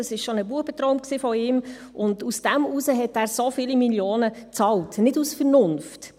Diese sei schon ein Bubentraum von ihm gewesen, deshalb habe er so viele Millionen Franken bezahlt, nicht aus Vernunft.